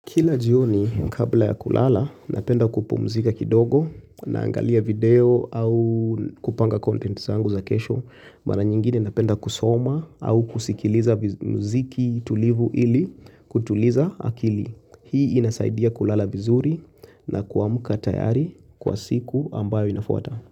Kila jioni kabla ya kulala, napenda kupumzika kidogo na angalia video au kupanga content zangu za kesho mara nyingine napenda kusoma au kusikiliza mziki tulivu ili kutuliza akili Hii inasaidia kulala vizuri na kuamuka tayari kwa siku ambayo inafuata.